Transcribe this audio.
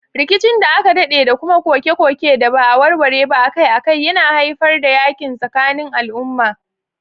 Rikicin da aka dade da kuma koke-koke da ba a warware ba akai-akai yana haifar da yakin tsakanin al'umma.